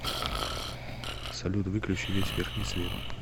салют выключи весь верхний свет